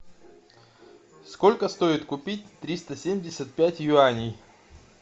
сколько стоит купить триста семьдесят пять юаней